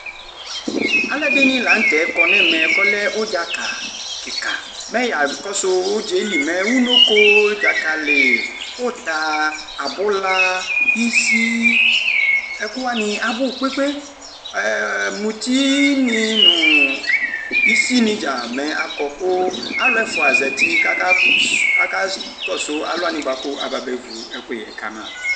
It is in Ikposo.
Alʋ ɛdini lanʋ tɛ kɔ nʋ ɛmɛ kʋ ɔlɛ ʋdza kika mɛ yakɔsʋ ʋdza yɛli mɛ unoko dzakali uta abula isi ɛkʋwani abʋ kpe kpe kpe muti ni nʋ isini dza mɛ akɔ kʋ alʋ ɛfʋa zati kʋ aka kɔsʋ alʋ wani ababe vʋ ekʋyɛ kama